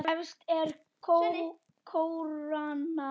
Efst er kóróna.